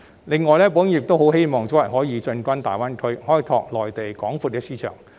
此外，保險業界亦希望可以早日進軍大灣區，開拓內地廣闊的市場。